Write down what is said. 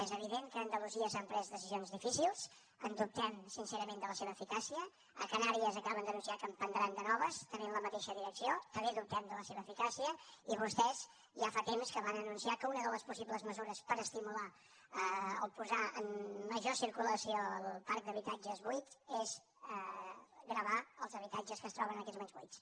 és evident que a andalusia s’han pres decisions difícils en dubtem sincerament de la seva eficàcia a canàries acaben d’anunciar que en prendran de noves també en la mateixa direcció també dubtem de la seva eficàcia i vostès ja fa temps que van anunciar que una de les possibles mesures per estimular o posar en major circulació el parc d’habitatges buits és gravar els habitatges que es troben en aquests moments buits